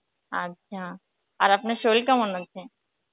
আচ্ছা, আর আপনার সরির কেমন আছে?